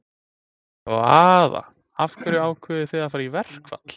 Hvaða, af hverju ákváðuð þið að fara í verkfall?